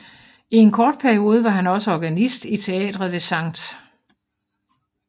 I en kort periode var han også organist i teatret ved St